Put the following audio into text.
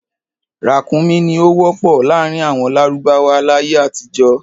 Ràkúnmí ni ó wọ́pọ̀ láàrin àwọn lárúbáwá láyé àtijọ́.